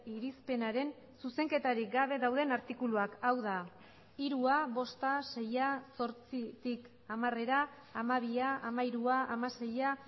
irizpenaren zuzenketarik gabe dauden artikuluak hau da hirua bosta seia zortzitik hamarera hamabia hamairua hamaseia